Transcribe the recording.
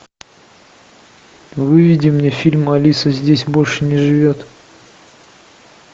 выведи мне фильм алиса здесь больше не живет